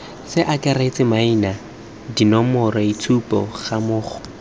ce akaretse maina dinomoroitshupo gammogo